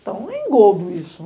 Então, é engobo isso.